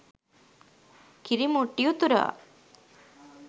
කිරි මුට්ටි උතුරවා